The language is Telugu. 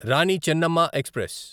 రాణి చెన్నమ్మ ఎక్స్ప్రెస్